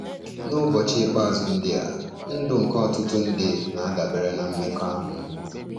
N'ụbọchị ikpeazụ ndị a, ndụ nke ọtụtụ ndị na-adabere na mmekọahụ.